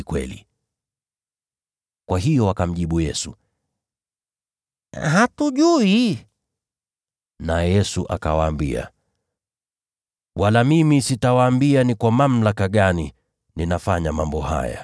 Kwa hiyo wakamjibu Yesu, “Hatujui.” Naye Yesu akawaambia, “Wala mimi sitawaambia ni kwa mamlaka gani ninatenda mambo haya.”